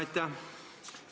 Aitäh!